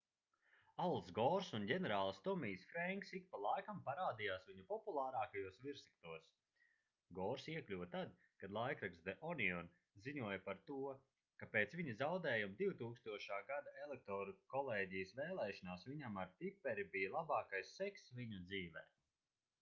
als gors un ģenerālis tomijs frenks ik pa laikam parādījās viņu populārākajos virsrakstos gors iekļuva tad kad laikraksts the onion ziņoja par to ka pēc viņa zaudējuma 2000. gada elektoru kolēģijas vēlēšanās viņam ar tiperi bija labākais sekss viņu dzīvē